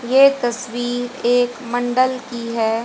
ये तस्वीर एक मंडल की है।